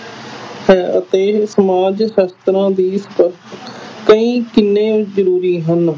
ਹੈ ਅਤੇ ਸਮਾਜ ਸ਼ਾਸਤਰਾਂ ਦੀ ਕਈ ਕਿੰਨੇ ਜ਼ਰੂਰੀ ਹਨ।